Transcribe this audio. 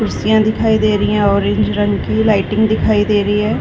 कुर्सियाँ दिखाई दे रही है ऑरेंज रंग की लाइटिंग दिखाई दे रही हैं ।